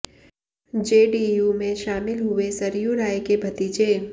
JDU में शामिल हुए सरयू राय के भतीजे